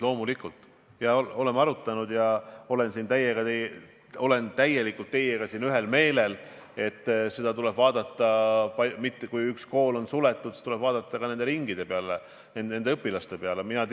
Loomulikult oleme seda arutanud ja ma olen täielikult teiega ühel meelel, et kui üks kool on suletud, siis tuleb vaadata ka, mis toimub ringides, kus need õpilased käivad.